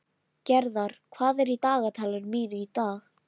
Gerðar, hvað er í dagatalinu mínu í dag?